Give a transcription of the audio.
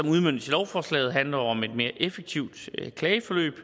udmøntes i lovforslaget handler jo om et mere effektivt klageforløb og